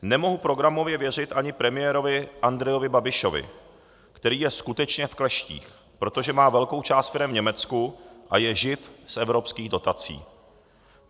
Nemohu programově věřit ani premiérovi Andrejovi Babišovi, který je skutečně v kleštích, protože má velkou část firem v Německu a je živ z evropských dotací.